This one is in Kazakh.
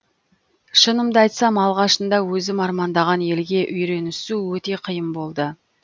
шынымды айтсам алғашында өзім армандаған елге үйренісу өте қиын болды